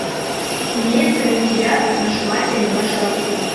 имеется ли у тебя наши матери наши отцы